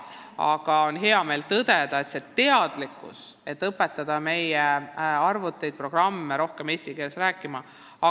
Samas on hea meel tõdeda: teadlikkus sellest, et meie arvutid-programmid peavad rohkem eesti keeles rääkima, on tõusnud.